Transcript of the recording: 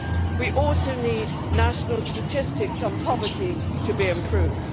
We also need national statistics on poverty to be improved.